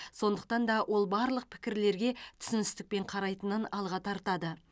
сондықтан да ол барлық пікірлерге түсіністікпен қарайтынын алға тартады